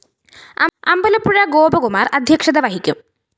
അമ്പലപ്പുഴ ഗോപകുമാര്‍ അദ്ധ്യക്ഷത വഹിക്കും